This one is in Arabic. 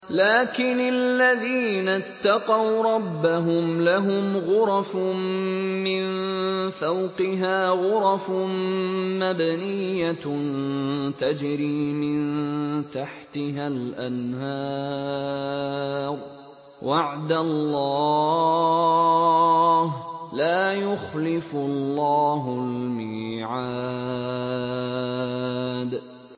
لَٰكِنِ الَّذِينَ اتَّقَوْا رَبَّهُمْ لَهُمْ غُرَفٌ مِّن فَوْقِهَا غُرَفٌ مَّبْنِيَّةٌ تَجْرِي مِن تَحْتِهَا الْأَنْهَارُ ۖ وَعْدَ اللَّهِ ۖ لَا يُخْلِفُ اللَّهُ الْمِيعَادَ